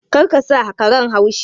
Kar ka sa karen haushi!